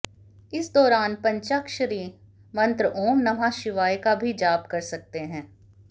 इस दौरान पंचाक्षरी मंत्र ॐ नमः शिवाय का भी जाप कर सकते हैं